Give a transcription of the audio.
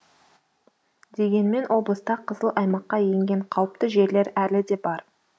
дегенмен облыста қызыл аймаққа енген қауіпті жерлер әлі де бар